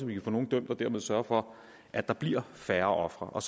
vi kan få nogle dømt og dermed sørge for at der bliver færre ofre og